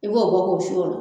I b'o bɔ k'o su ola